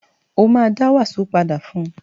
Ó ma dá wàsó padà fún